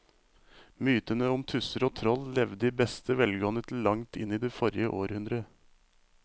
Mytene om tusser og troll levde i beste velgående til langt inn i forrige århundre.